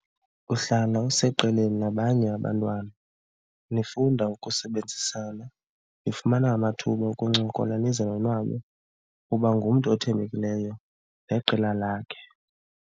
Uhlala useqeleni nabanye abantwana nifunda ukusebenzisana, nifumana amathuba okuncokola nize nonwabe, uba ngumntu othembekileyo neqela lakhe.